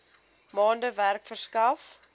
maande werk verskaf